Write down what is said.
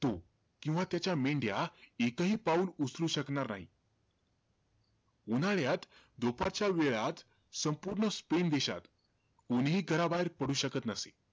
किंवा त्याच्या मेंढ्या एकही पाऊल उचलू शकणार नाही. उन्हाळ्यात, दुपारच्या वेळात संपूर्ण स्पेन देशात कोणीही घराबाहेर पडू शकत नसे.